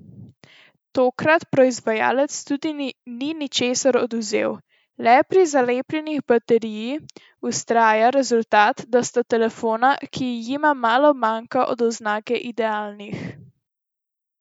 Tokrat proizvajalec tudi ni ničesar odvzel, le pri zalepljeni bateriji vztraja, rezultat pa sta telefona, ki jima malo manjka do oznake idealnih.